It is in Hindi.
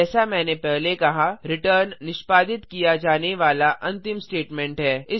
जैसा मैंने पहले कहा रिटर्न निष्पादित किया जाने वाला अंतिम स्टेटमेंट है